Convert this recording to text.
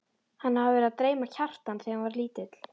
Hann hafði verið að dreyma Kjartan þegar hann var lítill.